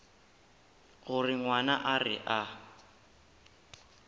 gore ngwana a re a